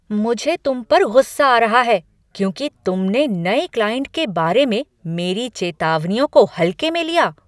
मुझे तुम पर गुस्सा आ रहा है क्योंकि तुमने नए क्लाइंट के बारे में मेरी चेतावनियों को हल्के में लिया।